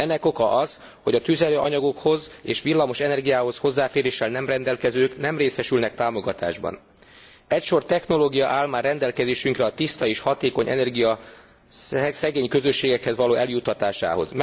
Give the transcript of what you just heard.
Ennek oka az, hogy a tüzelőanyagokhoz és villamos energiához hozzáféréssel nem rendelkezők nem részesülnek támogatásban. Egy sor technológia áll már rendelkezésünkre a tiszta és hatékony energia szegény közösségekhez való eljuttatásához.